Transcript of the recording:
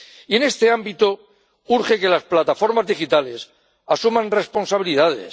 Y en este ámbito, urge que las plataformas digitales asuman responsabilidades.